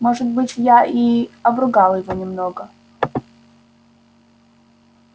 может быть я и обругал его немного